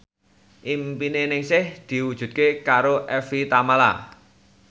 impine Ningsih diwujudke karo Evie Tamala